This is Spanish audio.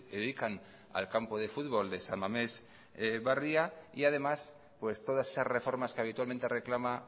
dedican al campo de futbol de san mames barria y además todas esas reformas que habitualmente reclama